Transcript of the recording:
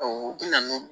u bi na n'o